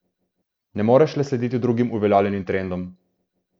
Ne moreš le slediti drugim uveljavljenim trendom.